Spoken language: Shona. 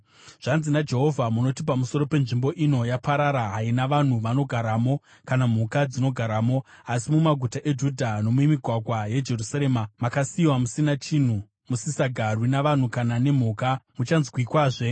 “Zvanzi naJehovha: ‘Munoti pamusoro penzvimbo ino, “Yaparara, haina vanhu vanogaramo kana mhuka dzinogaramo.” Asi mumaguta eJudha nomumigwagwa yeJerusarema makasiyiwa musina chinhu, musisagarwi navanhu kana nemhuka, muchanzwikwazve